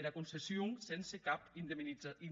era concession sense cap indemnizacion